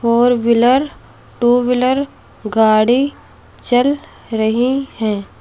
Four wheeler two wheeler गाड़ी चल रही है।